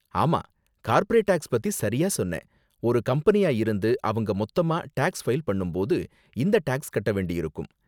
ஆமா, corporate tax பத்தி சரியா சொன்னே, ஒரு கம்பெனியா இருந்து அவங்க மொத்தமா டேக்ஸ் ஃபைல் பண்ணும் போது இந்த டேக்ஸ் கட்ட வேண்டியிருக்கும்.